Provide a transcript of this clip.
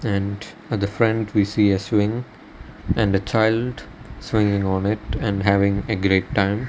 and at the front we see a swing and a child swinging on it and having a great time.